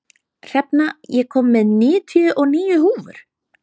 Hrefna, ég kom með níutíu og níu húfur!